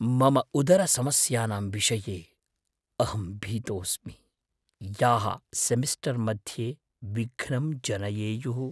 मम उदरसमस्यानां विषये अहं भीतोस्मि, याः सेमिस्टर् मध्ये विघ्नं जनयेयुः।